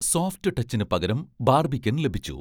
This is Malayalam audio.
സോഫ്റ്റ് ടച്ചിന് പകരം 'ബാർബിക്കൻ' ലഭിച്ചു